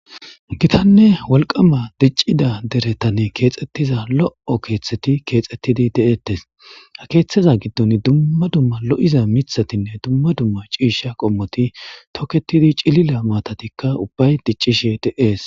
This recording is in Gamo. Gitanne wolqama diccida deretanne keexxettiza lo'o keeththeti keexettidi de'ettes ha keeththeza giddon dumma dumma lo'iza mithatinne dumma dumma ciisha qommoti toketidi cilila maatatikka ubbay diccishe deees.